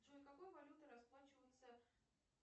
джой какой валютой расплачиваются